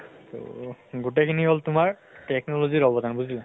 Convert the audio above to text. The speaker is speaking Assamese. তহ গোটেই খিনি হল তোমাৰ technology ৰ অৱদান বুজিলা।